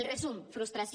el resum frustració